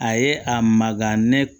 A ye a maga ne